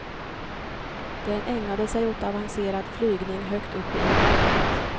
Den ägnade sig åt avancerad flygning högt uppe i vädret.